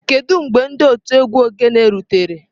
Kedu mgbe otu egwu ogene rutere?